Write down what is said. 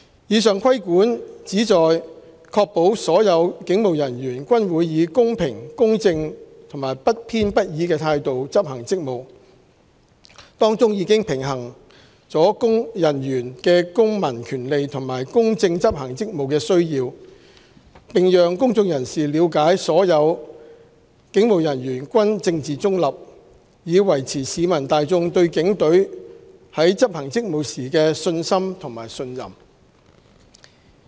以上規管旨在確保所有警務人員均會以公平、公正和不偏不倚的態度執行職務，當中已平衡人員的公民權利和公正執行職務的需要，並讓公眾人士了解所有警務人員均政治中立，以維持市民大眾對警隊在執行職務時的信心及信任。